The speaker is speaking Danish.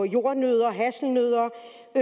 jordnødder hasselnødder